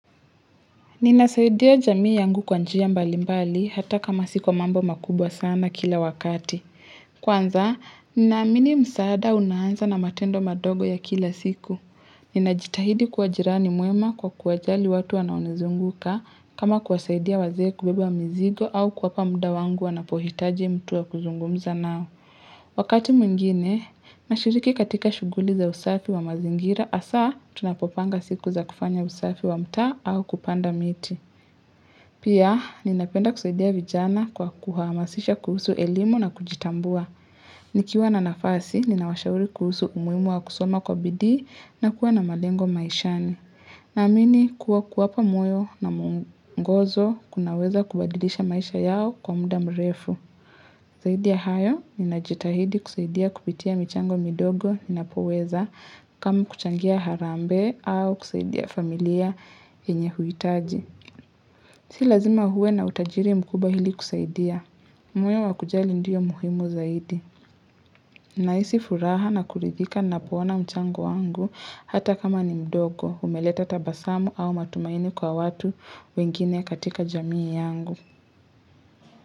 Ninasaidia jamii yangu kwanjia mbali mbali hata kama sikwa mambo makubwa sana kila wakati. Kwanza, ninaamini msaada unaanza na matendo madogo ya kila siku. Ninajitahidi kuwa jirani mwema kwa kuwajali watu wanaonizunguka kama kuwasaidia wazee kubeba mzigo au kuwapa muda wangu wanapohitaji mtu wa kuzungumza nao. Wakati mwingine, nashiriki katika shughuli za usafi wa mazingira hasa tunapopanga siku za kufanya usafi wa mtaa au kupanda miti. Pia, ninapenda kusaidia vijana kwa kuhamasisha kuhusu elimu na kujitambua. Nikiwa na nafasi, ninawashauri kuhusu umuhimu wa kusoma kwa bidii na kuwa na malengo maishani. Naamini kuwa kuwapa moyo na muongozo kunaweza kubadilisha maisha yao kwa muda mrefu. Zaidi ya hayo, ninajitahidi kusaidia kupitia michango midogo, ninapoweza, kama kuchangia harambee au kusaidia familia yenye huitaji. Si lazima uwe na utajiri mkubwa ili kusaidia. Moyo wakujali ndio muhimu zaidi. Nahisi furaha na kuridhika napoona mchango wangu hata kama ni mdogo, umeleta tabasamu au matumaini kwa watu wengine katika jamii yangu.